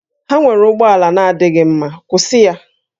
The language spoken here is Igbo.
Ha nwere ụgbọ ala na-adịghị mma, kwụsị ya!